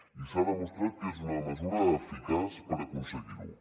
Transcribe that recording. i s’ha demostrat que és una mesura eficaç per aconseguir ho